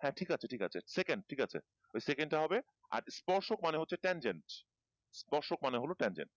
হ্যাঁ ঠিক আছে ঠিক আছে second ওই second টা হবে আর ইস্পর্শক মানে মানে হচ্ছে ইস্পর্শক মানে হলো টেনজেন্স